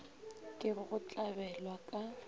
ke go go tlabela ka